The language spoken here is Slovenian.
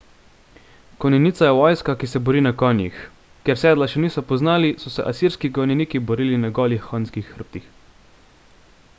konjenica je vojska ki se bori na konjih ker sedla še niso poznali so se asirski konjeniki borili na golih konjskih hrbtih